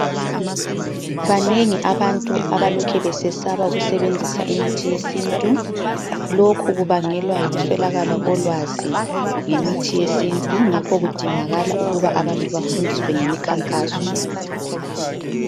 Banengi abantu abalokhe besesaba ukusebenzisa imithi yesintu. Lokhu kubangelwa yikuswelakala kolwazi ngemithi yesintu, ngakhokudingakala ukuba abantu bafundiswe ngemikhankaso.